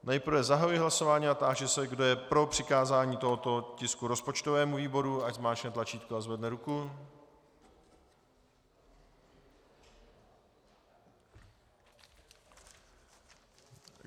Nejprve zahajuji hlasování a táži se, kdo je pro přikázání tohoto tisku rozpočtovému výboru, ať zmáčkne tlačítko a zvedne ruku.